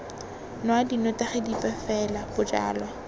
nwa dinotagi dipe fela bojalwa